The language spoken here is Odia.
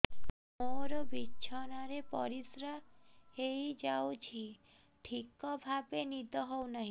ମୋର ବିଛଣାରେ ପରିସ୍ରା ହେଇଯାଉଛି ଠିକ ଭାବେ ନିଦ ହଉ ନାହିଁ